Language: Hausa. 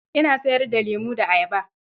Ina sayar da lemo da ayaba.